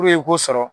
i k'o sɔrɔ